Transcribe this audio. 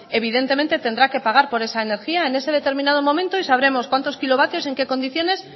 evidentemente tendrá que pagar por esa energía en ese determinado momento y sabremos cuantos kilovatios en qué condiciones